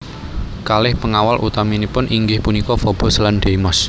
Kalih pengawal utaminipun inggih punika Fobos lan Deimos